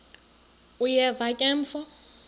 uyeva ke mfo